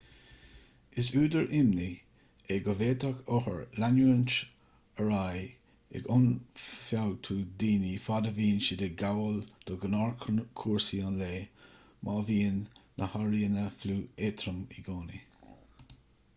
is údar imní é go bhféadfadh othair leanúint ar aghaidh ag ionfhabhtú daoine fad a bhíonn siad ag gabháil do ghnáthchúrsaí an lae má bhíonn na hairíonna fliú éadrom i gcónaí